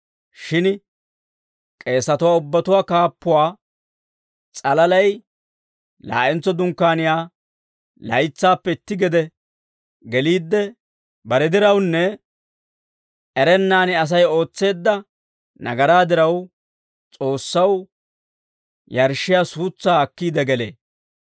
Shin k'eesatuwaa ubbatuwaa kaappuwaa s'alalay laa'entso Dunkkaaniyaa laytsaappe itti gede geliidde bare dirawunne erennaan Asay ootseedda nagaraa diraw, S'oossaw yarshshiyaa suutsaa akkiide gelee.